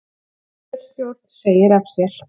Kjörstjórn segir af sér